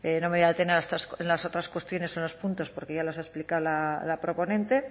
no me voy a detener en las otras cuestiones en los puntos porque ya las ha explicado la proponente